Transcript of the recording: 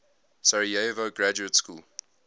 sarajevo graduate school